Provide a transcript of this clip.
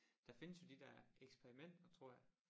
Der findes jo de der eksperimenter tror jeg